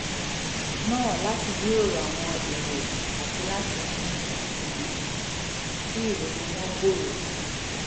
náà láti jíròrò àwọn èrò àti láti mú um kí ìrònú wọn gbòòrò sí i